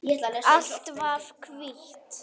Allt var hvítt.